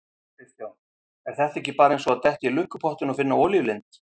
Kristján: Er þetta ekki bara eins og að detta í lukkupottinn og finna olíulind?